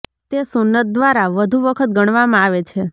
તે સુન્નત દ્વારા વધુ વખત ગણવામાં આવે છે